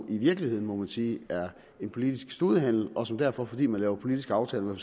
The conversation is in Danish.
i virkeligheden må man sige er en politisk studehandel og som derfor fordi man laver politiske aftaler med